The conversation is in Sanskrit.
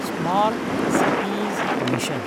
smart cities mission